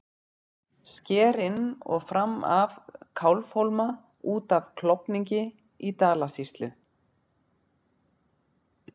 Sker inn og fram af Kálfhólma út af Klofningi í Dalasýslu.